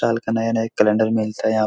साल के नए-नए कैलेंडर मिलता है। यहाँ --